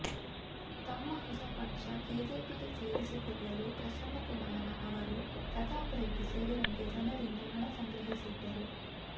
ತಮ್ಮ ಹೊಸ ಪಕ್ಷ ಕೆಜೆಪಿಗೆ ಸೇರಿಸಿಕೊಳ್ಳಲು ಪ್ರಸನ್ನ ಕುಮಾರ ಅವರು ಪ್ರತಾಪ ರೆಡ್ಡಿ ಸೇರಿದಂತೆ ಜನರಿಂದ ಹಣ ಸಂಗ್ರಹಿಸಿದ್ದರು